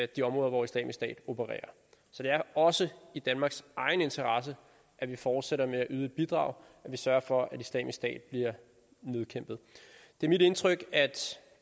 de områder hvor islamisk stat opererer så det er også i danmarks egen interesse at vi fortsætter med at yde bidrag og sørger for at islamisk stat bliver nedkæmpet det er mit indtryk at